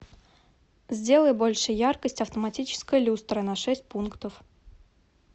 сделай больше яркость автоматической люстры на шесть пунктов